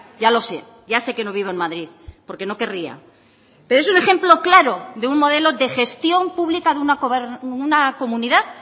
ya lo sé ya sé que no vivo en madrid porque no querría pero es un ejemplo claro de un modelo de gestión pública de una comunidad